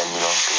Ka miliyɔn kelen